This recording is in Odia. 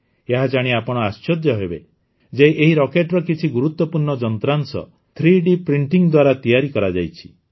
ଏହା ଜାଣି ଆପଣ ଆଶ୍ଚର୍ଯ୍ୟ ହେବେ ଯେ ଏହି ରକେଟ୍ର କିଛି ଗୁରୁତ୍ୱପୂର୍ଣ୍ଣ ଯନ୍ତ୍ରାଂଶ ଥ୍ରୀଡି ପ୍ରିନ୍ ଦ୍ୱାରା ତିଆରି କରାଯାଇଛି